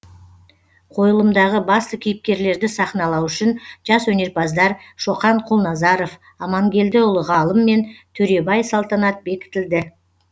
қойылымдағы басты кейіпкерлерді сахналау үшін жас өнерпаздар шоқан құлназаров амангелдіұлы ғалым мен төребай салтанат бекітілді